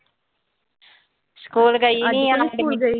ਅੱਜ ਕਿਉਂ ਨੀਂ ਸਕੂਲ ਗਈ।